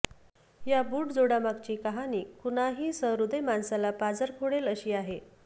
या बुट जोडामागची कहाणी कुणाही सहृदय माणसाला पाझर फोडेल अशी आहे